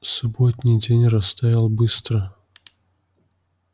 субботний день растаял быстро